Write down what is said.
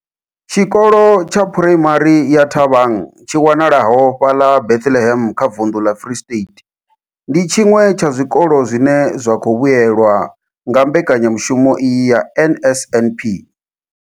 Tshikolo tsha Phuraimari ya Thabang tshi wanalaho fhaḽa Bethlehem kha vunḓu ḽa Free State, ndi tshiṅwe tsha zwikolo zwine zwa khou vhuelwa nga mbekanyamushumo iyi ya NSNP.